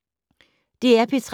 DR P3